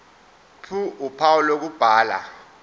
ph uphawu lokubhala